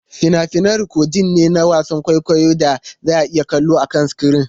Fina-finai rikodin ne na wasan kwaikwayon da za a iya kallo akan sikirin.